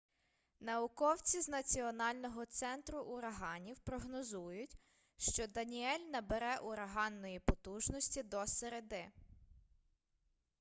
науковці з національного центру ураганів прогнозують що даніель набере ураганної потужності до середи